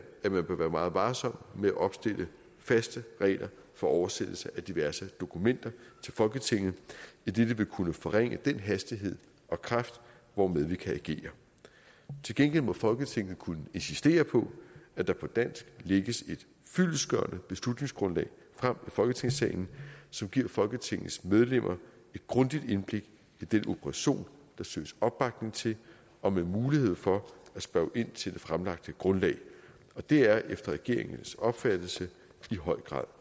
at man bør være meget varsom med at opstille faste regler for oversættelse af diverse dokumenter til folketinget idet det vil kunne forringe den hastighed og kraft hvormed vi kan agere til gengæld må folketinget kunne insistere på at der på dansk lægges et fyldestgørende beslutningsgrundlag frem i folketingssalen som giver folketingets medlemmer et grundigt indblik i den operation der søges opbakning til og med mulighed for at spørge ind til det fremlagte grundlag og det er efter regeringens opfattelse i høj grad